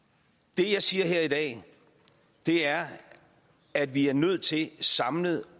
det jeg siger her i dag er at vi er nødt til samlet